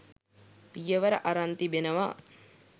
පියවර අරන් තිබෙනවා.